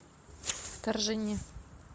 вторжение